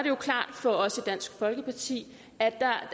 jo klart for os i dansk folkeparti